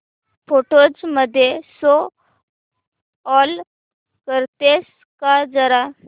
photos मध्ये show all करतेस का जरा